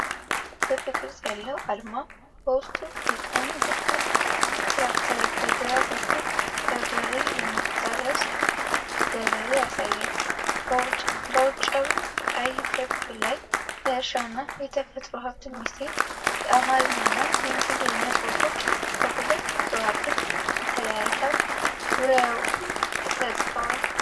ክብ ቅርጽ ያለው አርማ በውስጡ በቀኝ በኩል ትራክተር፣ በግራ በኩል በበሬ የሚታረስ ገበሬ ያሳያል። በውጫዊው ቀይ ክብ ላይ የእርሻና የተፈጥሮ ሀብት ሚኒስቴር የአማርኛ እና የእንግሊዝኛ ጽሑፎች በሁለት ከዋክብት ተለያይተው ዙሪያውን ተጽፈዋል።